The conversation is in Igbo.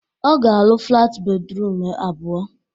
Ọ ga-arụ flat bedrum abụọ.